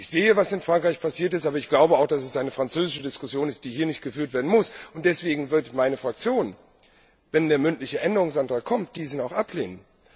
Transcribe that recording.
Ich sehe, was in Frankreich passiert ist. Aber ich glaube auch, dass es eine französische Diskussion ist, die hier nicht geführt werden muss. Deswegen wird meine Fraktion, wenn der mündliche Änderungsantrag kommt, diesen ablehnen.